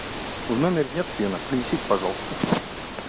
в номере нет фена принесите пожалуйста